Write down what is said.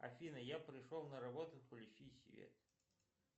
афина я пришел на работу включи свет